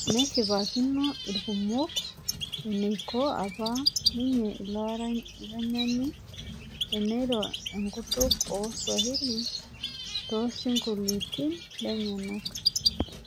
Neshipakino ilkumok eneiko apa ninye ilo aranyani eneiro enkutuk ooo swahili toosingolioti lenyenak